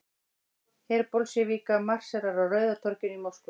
Her Bolsévíka marserar á Rauða torginu í Moskvu.